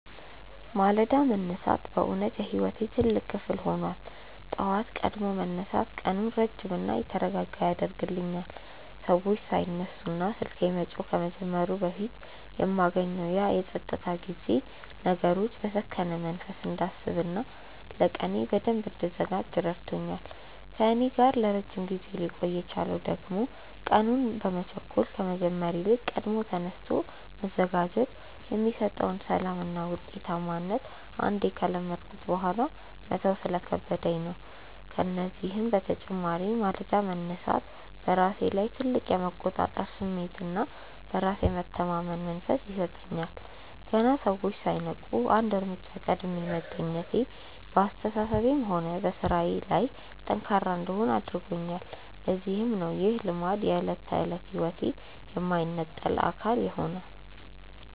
ማለዳ መነሳት በእውነት የሕይወቴ ትልቅ ክፍል ሆኗል። ጠዋት ቀድሞ መነሳት ቀኑን ረጅምና የተረጋጋ ያደርግልኛል፤ ሰዎች ሳይነሱና ስልኬ መጮህ ከመጀመሩ በፊት የማገኘው ያ የፀጥታ ጊዜ ነገሮችን በሰከነ መንፈስ እንዳስብና ለቀኔ በደንብ እንድዘጋጅ ረድቶኛል። ከእኔ ጋር ለረጅም ጊዜ ሊቆይ የቻለው ደግሞ ቀኑን በመቸኮል ከመጀመር ይልቅ ቀድሞ ተነስቶ መዘጋጀት የሚሰጠውን ሰላምና ውጤታማነት አንዴ ከለመድኩት በኋላ መተው ስለከበደኝ ነው። ከዚህም በተጨማሪ ማለዳ መነሳት በራሴ ላይ ትልቅ የመቆጣጠር ስሜትና በራስ የመተማመን መንፈስ ይሰጠኛል። ገና ሰዎች ሳይነቁ አንድ እርምጃ ቀድሜ መገኘቴ በአስተሳሰቤም ሆነ በሥራዬ ላይ ጠንካራ እንድሆን አድርጎኛል፤ ለዚህም ነው ይህ ልማድ የዕለት ተዕለት ሕይወቴ የማይነጠል አካል የሆነው።